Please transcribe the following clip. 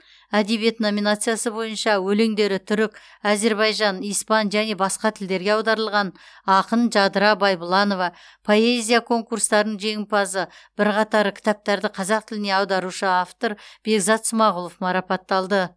әдебиет номинациясы бойынша өлеңдері түрік әзірбайжан испан және басқа тілдерге аударылған ақын жадыра байбұланова поэзия конкурстарының жеңімпазы бірқатар кітаптарды қазақ тіліне аударушы автор бекзат смағұлов марапатталды